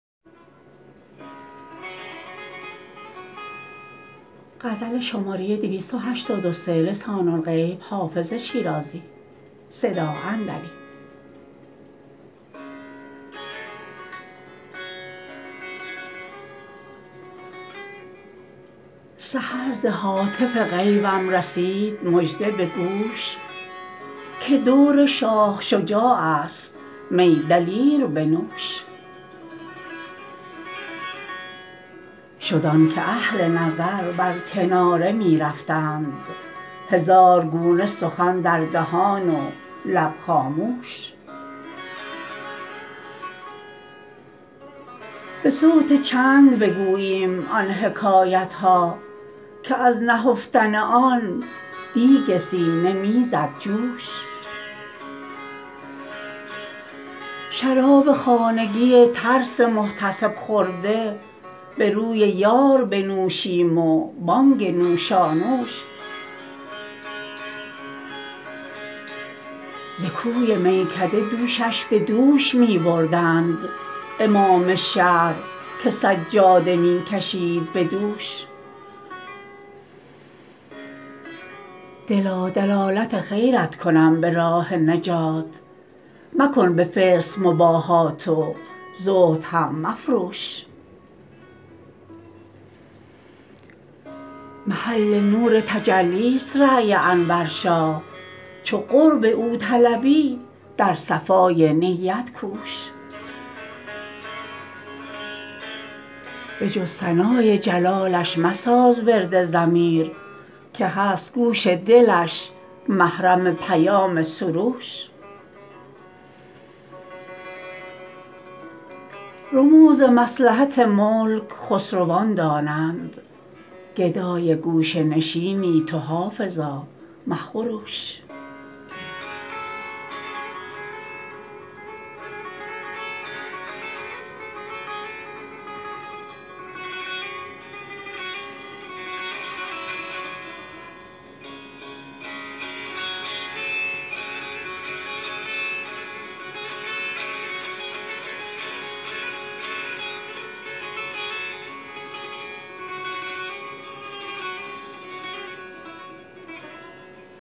سحر ز هاتف غیبم رسید مژده به گوش که دور شاه شجاع است می دلیر بنوش شد آن که اهل نظر بر کناره می رفتند هزار گونه سخن در دهان و لب خاموش به صوت چنگ بگوییم آن حکایت ها که از نهفتن آن دیگ سینه می زد جوش شراب خانگی ترس محتسب خورده به روی یار بنوشیم و بانگ نوشانوش ز کوی میکده دوشش به دوش می بردند امام شهر که سجاده می کشید به دوش دلا دلالت خیرت کنم به راه نجات مکن به فسق مباهات و زهد هم مفروش محل نور تجلی ست رای انور شاه چو قرب او طلبی در صفای نیت کوش به جز ثنای جلالش مساز ورد ضمیر که هست گوش دلش محرم پیام سروش رموز مصلحت ملک خسروان دانند گدای گوشه نشینی تو حافظا مخروش